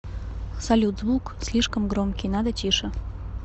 салют звук слишком громкий надо тише